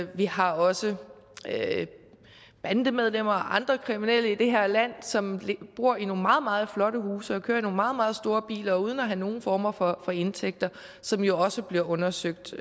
vi har også bandemedlemmer og andre kriminelle i det her land som bor i nogle meget meget flotte huse og kører i nogle meget meget store biler uden at have nogen former for indtægter som jo også bliver undersøgt